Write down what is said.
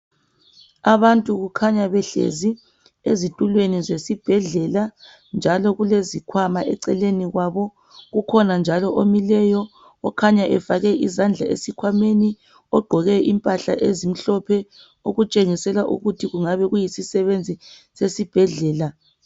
Abantu kukhanya behlezi ezitulweni zesibhedlela njalo kulezikhwama eceleni kwabo. Kukhona njalo omileyo kukhanya efake izandla esikhwameni ogqoke impahla ezimhlophe okutshengisela ukuthi kungabe kuyisisebenzi sesibhedlela.